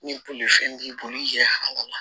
Ni bolifɛn b'i bolo i yɛrɛ hami